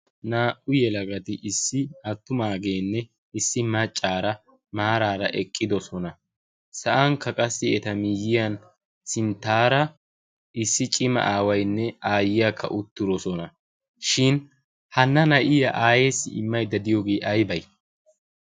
naa77u yelagati issi aattumaageenne issi maccaara maaraara eqqidosona. sa7ankka qassi eta miyyiyan sinttaara issi cima aawainne aayyiyaakka uttirosona. shin hana na7iya aayeesi immaidda diyoogee aibai?